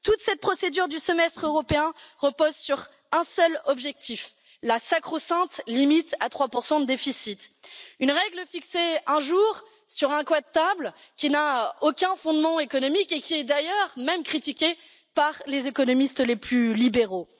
Toute cette procédure du Semestre européen repose sur un seul objectif la sacro sainte limite à 3 de déficit une règle fixée un jour sur un coin de table, qui n'a aucun fondement économique et qui est d'ailleurs critiquée même par les économistes les plus libéraux.